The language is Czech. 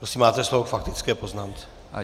Prosím máte slovo k faktické poznámce.